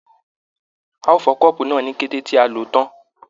A o fọ kọ́ọ́bú náà ní kété tí a lò tán.